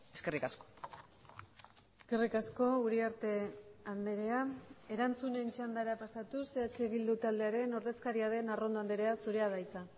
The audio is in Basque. eskerrik asko eskerrik asko uriarte andrea erantzunen txandara pasatuz eh bildu taldearen ordezkaria den arrondo andrea zurea da hitza